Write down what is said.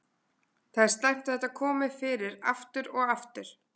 Það er slæmt að þetta komi fyrir aftur og aftur.